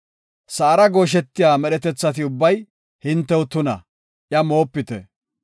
“Sa7ara gooshetiya medhetethi ubbay hintew tuna; iya moopite.